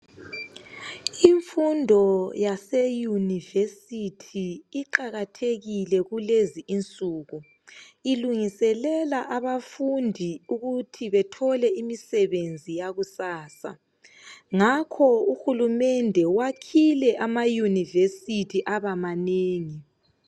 Imfundo yaseyunivesithi iqakathekile kulezinsuku, ilungiselela abafundi ukuthi bethole imisebenzi yakusasa. Ngakho uhulumende wakhile amayunivesithi aba manengi.